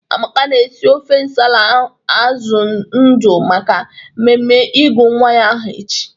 Amaka na-esi ofe nsala azụ ndụ maka mmemme ịgụ nwa ya aha echi.